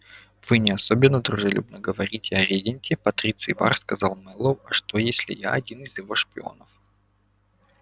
вы не особенно дружелюбно говорите о регенте патриций бар сказал мэллоу а что если я один из его шпионов